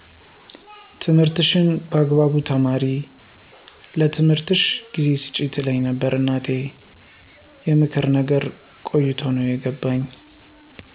ትምህርትሽን በአግባቡ ተማሪ ለትምህርትሽ ጊዜ ስጪ ትለኝ ነበር እናቴ የምክሩን ነገር ቆይቶ ነው የገባኝ